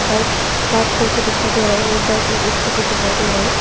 Bike park कर के दिखाई दे रहा है और बाइक में भी दिखाई दे रहे हैं।